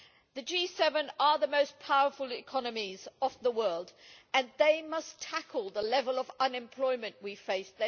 The G7 are the most powerful economies of the world and they must tackle the level of unemployment we face.